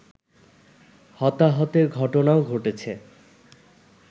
হতাহতের ঘটনাও ঘটেছে